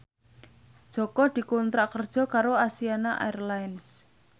Jaka dikontrak kerja karo Asiana Airlines